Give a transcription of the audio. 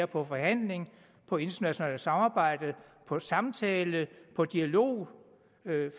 på forhandling på internationalt samarbejde på samtale og dialog